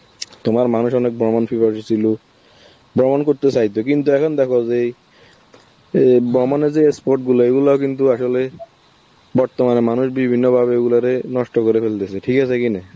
তোমার মানুষ অনেক ভ্রমণ ছিল, ভ্রমণ করতে চাই তো, কিন্তু এখন দেখো যেই এ ভ্রমনে যে sport গুলো, এইগুলো কিন্তু আসলে বর্তমানে মানুষ বিভিন্নভাবে এগুলোরে নষ্ট করে ফেলতেছে, ঠিক আছে কিনা?